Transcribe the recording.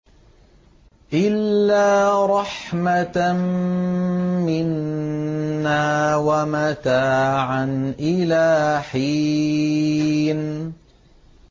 إِلَّا رَحْمَةً مِّنَّا وَمَتَاعًا إِلَىٰ حِينٍ